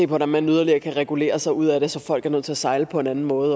hvordan man yderligere kan regulere sig ud af det så folk er nødt til at sejle på en anden måde